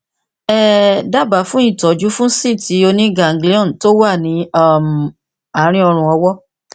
um dábàá fún ìtọjú fún síìtì oníganglion tó wà ní um àárín ọrùn ọwọ